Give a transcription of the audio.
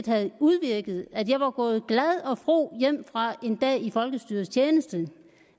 have udvirket at jeg var gået glad og fro hjem fra en dag i folkestyrets tjeneste